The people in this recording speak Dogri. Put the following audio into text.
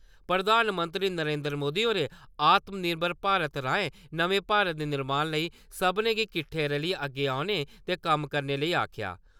प्रधानमंत्री नरेन्द्र मोदी होरें आत्म निर्भर भारत राएं-नमें भारत दे निर्माण लेई सब्भनें गी किट्ठे रलियै अग्गै औने ते कम्म करने लेई आक्खेआ